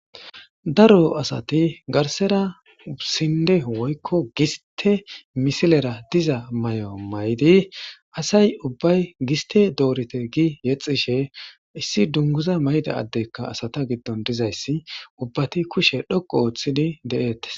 daro asati garsera sinde woykko giste misilera diza mayo mayidi asay ubbay giste doorite gi yexishe issi dunguza mayida addeykka asata giddon dizayssi ubbati kushe dhoqu ooththidi de7eettes.